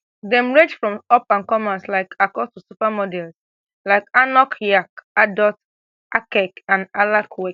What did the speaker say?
dem rage from upandcomers like akol to supermodel like anok yaik adoh akek and alak kowek